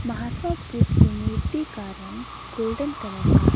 महात्मा बुद्ध की मूर्ति का रंग गोल्डन कलर का --